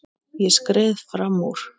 Ég skreið fram úr.